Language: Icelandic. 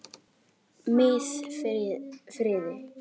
Miðfirði